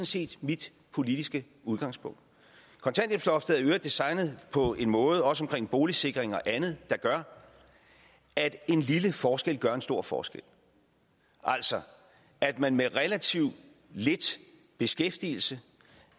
set mit politiske udgangspunkt kontanthjælpsloftet er i øvrigt designet på en måde også med hensyn til boligsikring og andet der gør at en lille forskel gør en stor forskel altså at man med relativt lidt beskæftigelse